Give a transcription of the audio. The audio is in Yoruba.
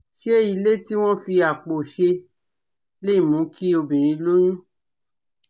Ṣé ilé tí wọ́n fi àpò ṣe lè mú kí obìnrin lóyún?